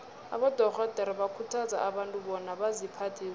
abadorhodere bakhuthaza abantu bona baziphathe kuhle